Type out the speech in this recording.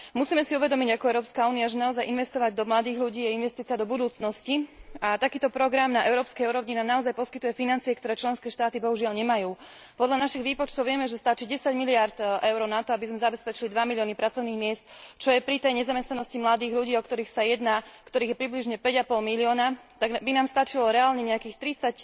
Musíme si uvedomiť ako Európska únia, že naozaj investovať do mladých ľudí je investícia do budúcnosti, a takýto program na európskej úrovni nám naozaj poskytuje financie, ktoré členské štáty bohužiaľ nemajú. Podľa našich výpočtov vieme, že stačí 10 miliárd EUR na to, aby sme zabezpečili 2 milióny pracovných miest, čo je pri tej nezamestnanosti mladých ľudí, o ktorých sa jedná, ktorých je približne 5 a pol milióna, tak by nám stačilo reálne nejakých 30